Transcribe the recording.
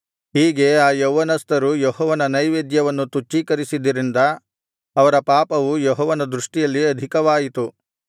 ಹೀಗೆ ಆ ಯೌವನಸ್ಥರು ಯೆಹೋವನ ನೈವೇದ್ಯವನ್ನು ತುಚ್ಛೀಕರಿಸಿದ್ದರಿಂದ ಅವರ ಪಾಪವು ಯೆಹೋವನ ದೃಷ್ಟಿಯಲ್ಲಿ ಆಧಿಕವಾಯಿತು